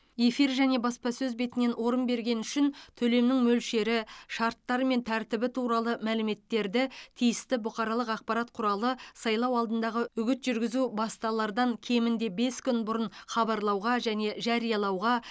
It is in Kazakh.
эфир және баспасөз бетінен орын бергені үшін төлемнің мөлшері шарттары мен тәртібі туралы мәліметтерді тиісті бұқаралық ақпарат құралы сайлау алдындағы үгіт жүргізу басталардан кемінде бес күн бұрын хабарлауға және жариялауға